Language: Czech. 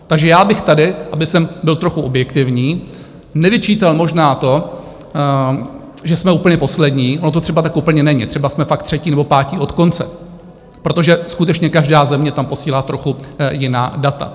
Takže já bych tady, abych byl trochu objektivní, nevyčítal možná to, že jsme úplně poslední, ono to třeba tak úplně není, třeba jsme fakt třetí nebo pátí od konce, protože skutečně každá země tam posílá trochu jiná data.